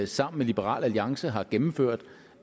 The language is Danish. sammen med liberal alliance har gennemført